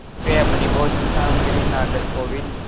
वे अपनी भोजन सामग्री नागरकोविल